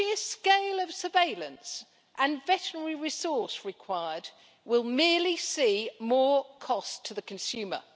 The sheer scale of surveillance and veterinary resources required will merely see more cost to the consumer.